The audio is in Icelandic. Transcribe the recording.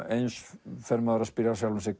eins fer maður að spyrja sjálfan sig